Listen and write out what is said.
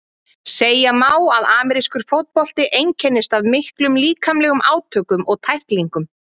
Segja má að amerískur fótbolti einkennist af miklum líkamlegum átökum og tæklingum.